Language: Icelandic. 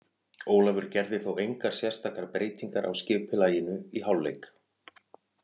Ólafur gerði þó engar sérstakar breytingar á skipulaginu í hálfleik.